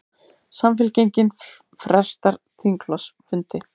Samfylkingin frestar þingflokksfundi